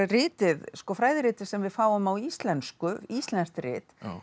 ritið sem við fáum á íslensku íslenskt rit